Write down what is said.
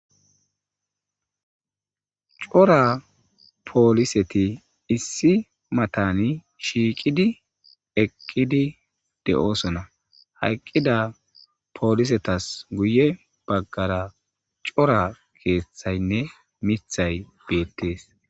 Cora poliseti issi matani shiiqidi eqqidi de'osona ha eqqida polisetas guye baggara cora keethayne miththay betees.